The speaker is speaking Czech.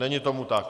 Není tomu tak.